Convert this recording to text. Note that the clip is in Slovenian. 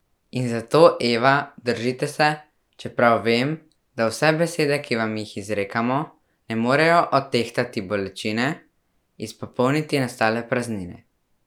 In zato, Eva, držite se, čeprav vem, da vse besede, ki vam jih izrekamo, ne morejo odtehtati bolečine, izpopolniti nastale praznine.